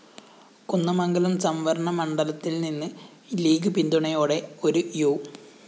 കുന്ദമംഗലം സംവരണമണ്ഡലത്തില്‍നിന്ന് ലീഗ്‌ പിന്തുണയോടെ ഒരു യു